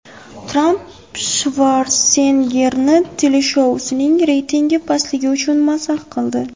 Tramp Shvarseneggerni teleshousining reytingi pastligi uchun mazax qildi.